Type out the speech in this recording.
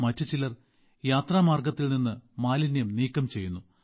മറ്റു ചിലർ യാത്രാമാർഗ്ഗത്തിൽ നിന്ന് മാലിന്യം നീക്കം ചെയ്യുന്നു